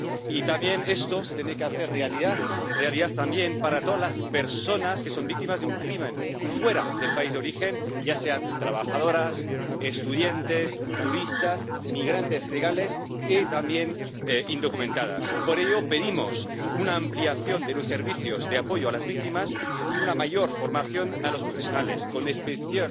Y también esto se tiene que hacer realidad, realidad también para todas las personas que son víctimas de un delito fuera del país de origen, ya sean trabajadoras, estudiantes, turistas, migrantes legales y, también, indocumentadas. Por ello, pedimos una ampliación de los servicios de apoyo a las víctimas y una mayor formación para los profesionales, con especial